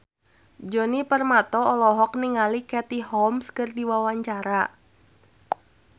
Djoni Permato olohok ningali Katie Holmes keur diwawancara